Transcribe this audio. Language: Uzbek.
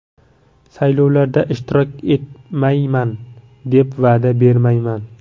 Saylovlarda ishtirok etmayman, deb va’da bermayman.